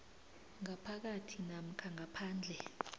ngaphakathi namkha ngaphandle